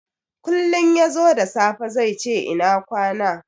Kullin yazo da safe zaice ina kwana.